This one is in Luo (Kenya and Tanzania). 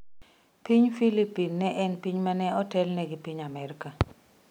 Piny Filipin ne en piny ma ne otelne gi piny Amerka.